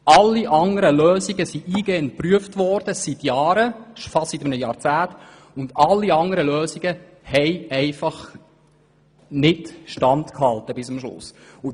Alle anderen Lösungen wurden seit Jahren geprüft und hielten nicht bis am Schluss Stand.